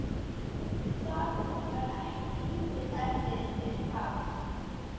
Það var ekki lítið erfiði fyrir barn.